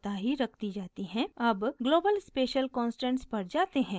अब global special constants पर जाते हैं